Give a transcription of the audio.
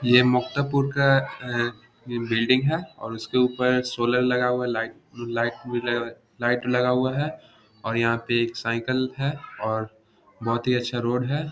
ये मुक्तापुर का ए ये बिल्डिंग है और उसके ऊपर सोलर लगा हुआ है। लाइट लाइट भी लगा हुआ लाइट लगा हुआ है और यहां पे एक साइकिल है और बोहोत ही अच्छा रोड है।